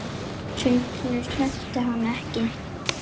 Sundinu sleppti hann ekki.